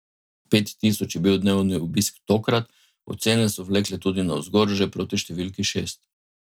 Pet tisoč je bil dnevni obisk tokrat, ocene so vlekle tudi navzgor že proti številki šest.